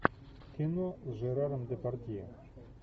кино с жераром депардье